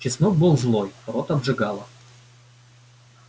чеснок был злой рот обжигало